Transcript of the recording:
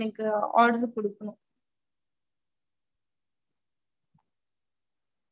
இல்ல நீங்க exact ஆ forty members அஹ் அந்த forty members அஹ் correct ஆ சொல்லிருங்க mam.